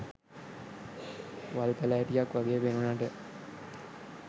වල් පැලැටියක් වගෙ පෙනුනට